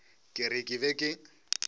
ke re ke be ke